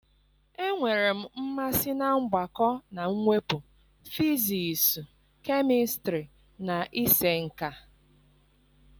Enwere m mmasị na mgbakọ na mwepụ, fizisụ, kemistrị na ịse nka.